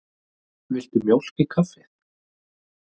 Viltu mjólk í kaffið?